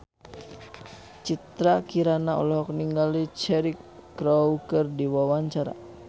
Citra Kirana olohok ningali Cheryl Crow keur diwawancara